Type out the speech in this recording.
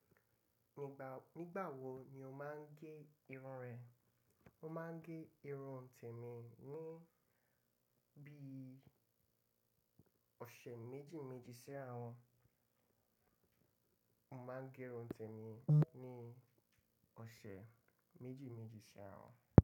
Nígbà wo ni o máa ń gé irun rẹ? Mo máa ń gé irun tèmi ní bí i ọ̀sẹ̀ méjì méjì si àra won. Mo máa ń gé irun tèmi ní ọ̀sẹ̀ méjì méjì sẹ́ àárọ̀